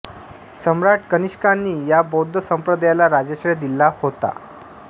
सम्राट कनिष्कांनी या बौद्ध संप्रदायाला राजाश्रय दिला होता